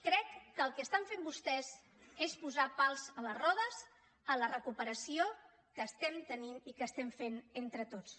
crec que el que estan fent vostès és posar pals a les rodes a la recuperació que estem tenint i que estem fent entre tots